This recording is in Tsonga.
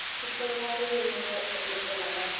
xitsonga ririmi ro engetela ra